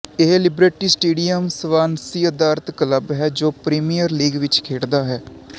ਇਹ Liberty Stadium Swansea ਅਧਾਰਤ club ਹੈ ਜੋ ਪ੍ਰੀਮੀਅਰ ਲੀਗ ਵਿੱਚ ਖੇਡਦਾ ਹੈ